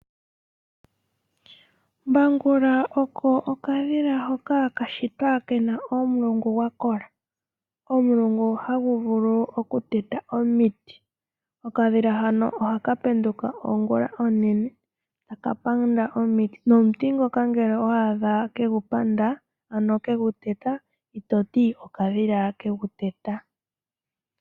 Mbangula oko okadhila hoka kashitwa kena omulungu gwakola. Omulungu haguvulu okuteta omiti. Okadhila hano ohaka penduka ongula onene takapanda omiti. Nomuti ngono ngele owaadha kegupanda ano keguteta itoti okadhila keguteta.